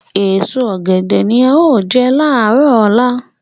Èso ọ̀gẹ̀dẹ̀ ni a ó jẹ láàárọ̀ ọ̀la